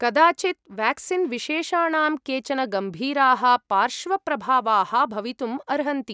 कदाचित् वेक्सीन् विशेषाणां केचन गम्भीराः पार्श्वप्रभावाः भवितुम् अर्हन्ति।